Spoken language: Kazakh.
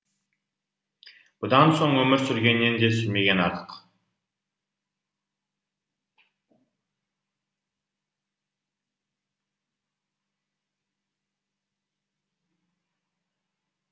бұдан соң өмір сүргеннен де сүрмеген артық